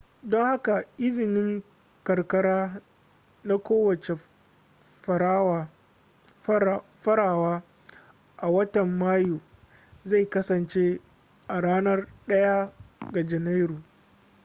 don haka izinin karkara na kowace farawa a watan mayu zai kasance a ranar 1 ga janairu